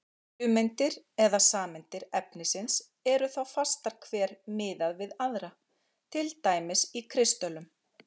Frumeindir eða sameindir efnisins eru þá fastar hver miðað við aðra, til dæmis í kristöllum.